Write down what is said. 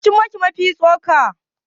waye ya ci maki Mafi tsoka?